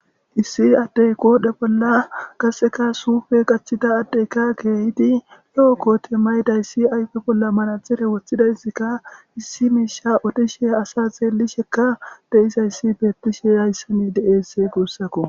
Issi adde qodhe bolla qassekka suufe qaccida adde ikka kehidi loo koote mayidayssi ayfe bolla manaxire wotidayssika issi miishsha odishe asa xeelishekka de7izayssi beetishe hayssan de7es guusako.